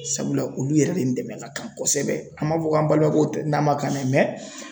Sabula olu yɛrɛ de ni dɛmɛ ka kan kosɛbɛ an m'a fɔ ko an balimakɛw tɛ n'a man kan dɛ